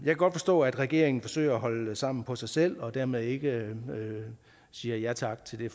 kan godt forstå at regeringen forsøger at holde sammen på sig selv og dermed ikke siger ja tak til det